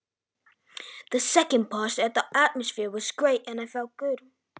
Seinni hlutann var stemningin mikil og leið mér ágætlega.